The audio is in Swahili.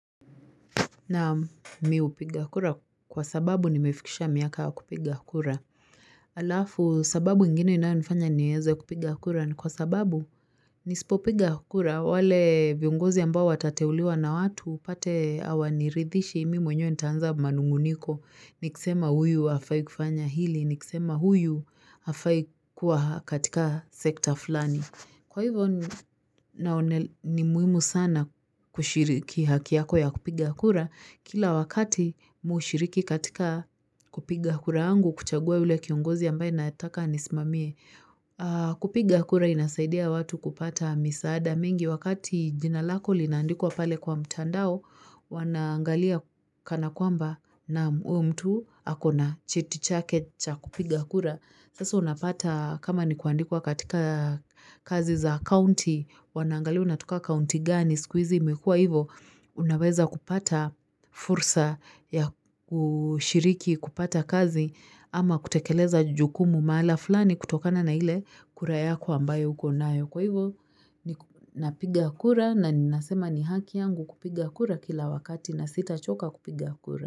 Na mimi hupiga kura kwa sababu ni mefikisha miaka ya kupiga kura. Alafu sababu nyingine inayonifanya niweze kupiga kura ni kwa sababu nisipopiga kura wale viongozi ambao watateuliwa na watu tupate hawaniridhishi mimi mwenyewe nitaanza manung'uniko. Nikisema huyu hafai kufanya hili, nikisema huyu hafai kuwa katika sekta fulani. Kwa hivyo ni muhimu sana kushiriki hakiyako ya kupiga kura, kila wakati mushiriki katika kupiga kura yangu kuchagua yule kiongozi ambaye nayetaka anisimamie. Kupiga kura inasaidia watu kupata misaada mingi wakati jinalako linaandikwa pale kwa mtandao, wanaangalia kana kwamba na uwe mtu akona cheti chake cha kupiga kura. Sasa unapata kama ni kuandikwa katika kazi za county, wanaangalia unatoka county gani, sikuhizi, imekua hivyo, unaweza kupata fursa ya kushiriki kupata kazi ama kutekeleza jukumu mahala fulani kutokana na ile kura yako ambayo uko nayo. Kwa hivyo, napiga kura na ninasema ni haki yangu kupiga kura kila wakati na sita choka kupiga kura.